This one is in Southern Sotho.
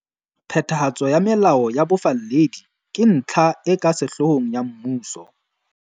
Phethahatso ya melao ya bofalledi ke ntlha e ka sehloohong ya mmuso.